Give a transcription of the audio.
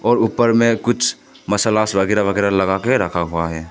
और ऊपर में कुछ मसाला अगैरा वगैरा लगा के रखा हुआ है।